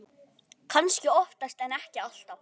Kannski oftast en ekki alltaf.